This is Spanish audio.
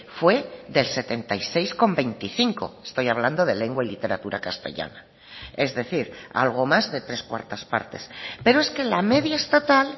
fue del setenta y seis coma veinticinco estoy hablando de lengua y literatura castellana es decir algo más de tres cuartas partes pero es que la media estatal